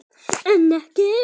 En ekki.